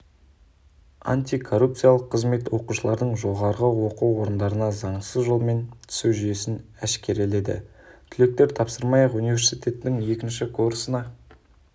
антикоррупциялық қызмет оқушылардың жоғарғы оқу орындарына заңсыз жолмен түсу жүйесін әшкереледі түлектер тапсырмай-ақ университеттің екінші курсына